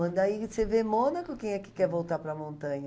Quando aí você vê Mônaco, quem é que quer voltar para a montanha?